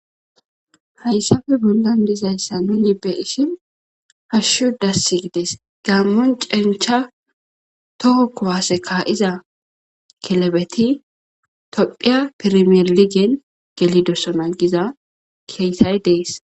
Haysappe bollan dezaysa nuni bei'shin hashshu dssi gides gamo cencha toho kuwase kai'za kilebeti tophiya permilen gelidosona giza kesay des